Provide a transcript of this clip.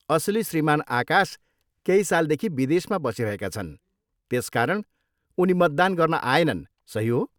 असली श्रीमान आकाश केही सालदेखि विदेशमा बसिरहेका छन्, त्यसकारण उनी मतदान गर्न आएनन्, सही हो?